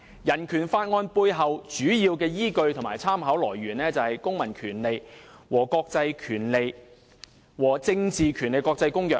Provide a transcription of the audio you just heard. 《人權法案條例》背後的主要依據和參考來源，便是《公民權利和政治權利國際公約》。